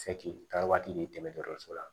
Sɛ k'i taara waati de dɔso la